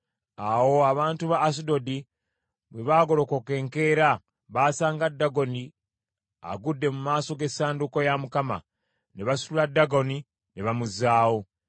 Awo abantu ba Asudodi bwe baagolokoka enkeera, baasanga Dagoni agudde mu maaso g’essanduuko ya Mukama . Ne basitula Dagoni ne bamuzzaawo.